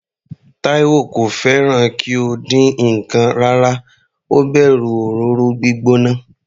Taiwo kò fẹ́ràn kí ó dín ǹkan rárá, ó bẹ̀rù òróró gbígbóná.